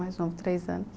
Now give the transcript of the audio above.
Mais novo três anos.